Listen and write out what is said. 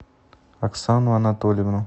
оксану анатольевну